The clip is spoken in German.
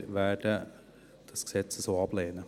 Wir werden dieses Gesetz so ablehnen.